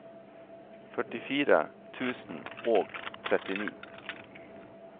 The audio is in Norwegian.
førtifire tusen og trettini